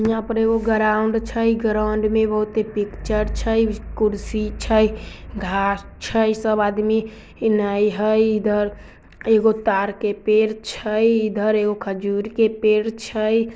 यहाँ पर एगो ग्राउन्ड छई ग्राउन्ड मे बहुत ऐ पिक्चर छई कुर्सी छई घांस छई सब आदमी इन आई हई| इधर एगो ताड़ के पेड़ छई इधर एगो खजूर के पेड़ छई।